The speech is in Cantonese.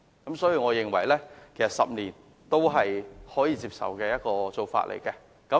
因此，我認為10年才換證是可以接受的做法。